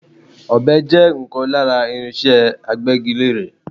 Ọ̀be jẹ́ ọ̀kan lára irinse Agbẹ́gilére.